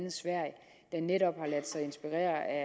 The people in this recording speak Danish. er netop har ladet sig inspirere af